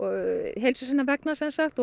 heilsu sinnar vegna